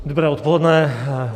Dobré odpoledne.